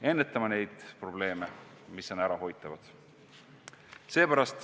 Ennetame neid probleeme, mis on ärahoitavad!